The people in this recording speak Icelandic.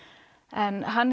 en hann